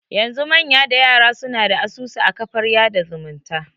Yanzu manya da yara suna da asusu a kafar yada zumunta